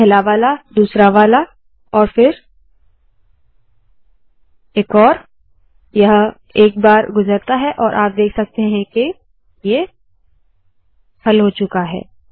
पहला वाला दूसरा वाला और फिर एक और यह एक बार गुज़रता है और आप देख अकते है के ये हल हो चूका है